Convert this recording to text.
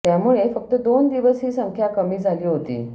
त्यामुळे फक्त दोन दिवस ही संख्या कमी झाली होती